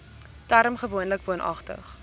term gewoonlik woonagtig